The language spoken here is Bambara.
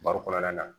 Baro kɔnɔna na